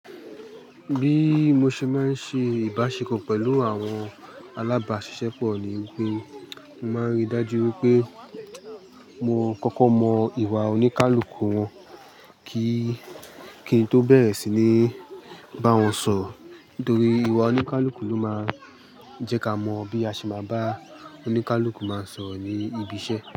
Bí mo ṣe máa ń ṣe ìbáṣepọ̀ pẹ̀lú àwọn alábáṣiṣẹ́ pọ̀ ní wípé mo máa ń rí dájú wípé mo kọ́kọ́ mọ ìwà oníkálukú wọn kí kí n tó bẹ̀rẹ̀ sí ní bá wọn sọ̀ro. Nítorí ìwà oníkálukú ló máa ń jẹ́ ká mọ bí a ṣe máa bá oníkálukú máa sọ̀ro ní ibi iṣẹ́